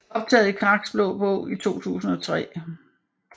Optaget i Kraks Blå Bog i 2003